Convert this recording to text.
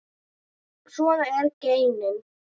Svona eru genin.